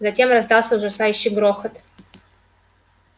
затем раздался ужасающий грохот